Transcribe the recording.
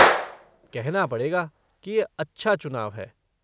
कहना पड़ेगा की ये अच्छा चुनाव है।